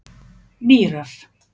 Mýrar